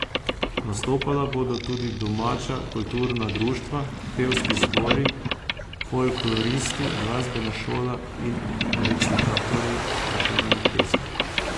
Nastopala bodo tudi domača kulturna društva, pevski zbori, folkloristi, glasbena šola in recitatorji Prešernovih pesmi.